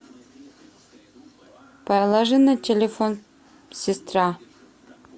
положи на телефон сестра